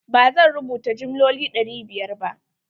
ba zan rubuta jimloli ɗari biyar ba.